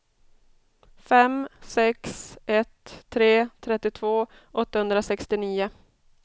fem sex ett tre trettiotvå åttahundrasextionio